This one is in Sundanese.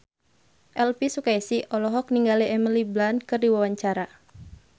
Elvy Sukaesih olohok ningali Emily Blunt keur diwawancara